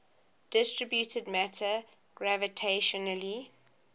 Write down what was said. distributed matter gravitationally